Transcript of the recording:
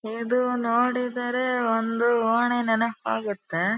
ಇದು ನೋಡಿದರೆ ಒಂದು ಓಣಿ ನೆನಪಾಗುತ್ತೆ.